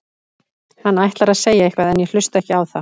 Hann ætlar að segja eitthvað en ég hlusta ekki á það.